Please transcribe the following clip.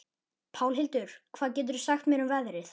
Pálhildur, hvað geturðu sagt mér um veðrið?